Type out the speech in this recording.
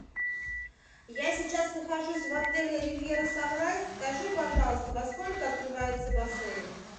я сейчас нахожусь в отеле ривьера санрайз скажи пожалуйста во сколько открывается бассейн